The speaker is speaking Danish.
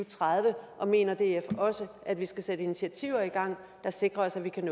og tredive og mener df også at vi skal sætte initiativer i gang der sikrer at vi kan